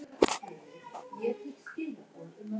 Hún óhrein.